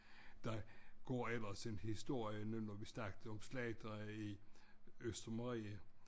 Der går ellers en historie nu hvor vi snakkede om slagtere i Østermarie